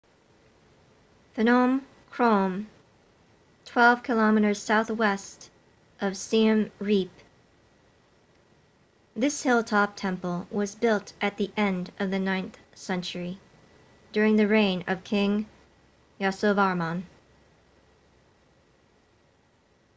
phnom krom 12 km southwest of siem reap this hilltop temple was built at the end of the 9th century during the reign of king yasovarman